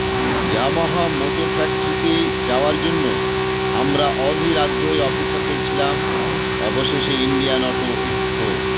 Yamaha motor factory তে যাওয়ার জন্য আমরা অধীর আগ্রহে অপেক্ষা করছিলাম অবশেষে ইন্ডিয়ান অটো এক্সপো